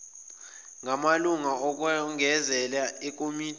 ngamalunga okwengezela ekomidini